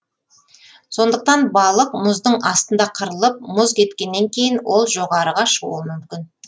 сондықтан балық мұздың астында қырылып мұз кеткеннен кейін ол жоғарыға шығуы мүмкін